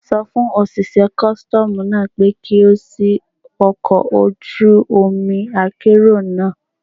Sọ fún òṣìṣẹ́ kọ́sítọ́mù náà pé kí ó ṣì ọkọ̀ ojú omi akérò náà.